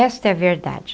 Esta é a verdade.